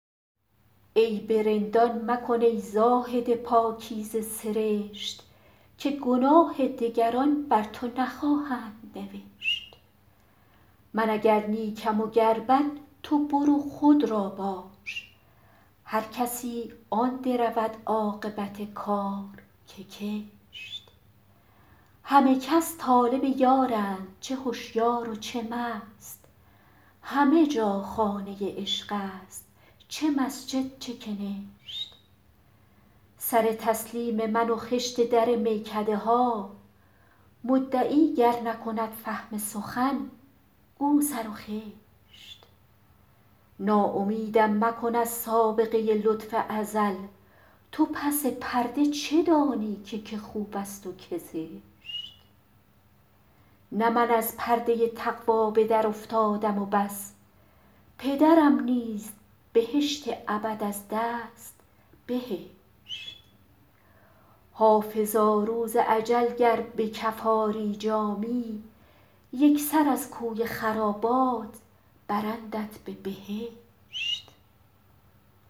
عیب رندان مکن ای زاهد پاکیزه سرشت که گناه دگران بر تو نخواهند نوشت من اگر نیکم و گر بد تو برو خود را باش هر کسی آن درود عاقبت کار که کشت همه کس طالب یارند چه هشیار و چه مست همه جا خانه عشق است چه مسجد چه کنشت سر تسلیم من و خشت در میکده ها مدعی گر نکند فهم سخن گو سر و خشت ناامیدم مکن از سابقه لطف ازل تو پس پرده چه دانی که که خوب است و که زشت نه من از پرده تقوا به درافتادم و بس پدرم نیز بهشت ابد از دست بهشت حافظا روز اجل گر به کف آری جامی یک سر از کوی خرابات برندت به بهشت